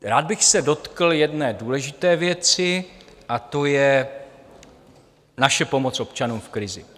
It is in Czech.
Rád bych se dotkl jedné důležité věci a to je naše pomoc občanům v krizi.